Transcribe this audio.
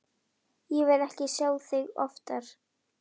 Ég vil ekki sjá þig oftar.